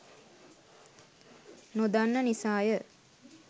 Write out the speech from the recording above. නොදන්නා නිසාය.